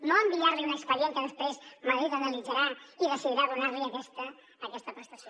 no enviar li un expedient que després madrid analitzarà i decidirà donar li aquesta prestació